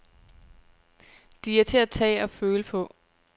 De er til at tage og føle på.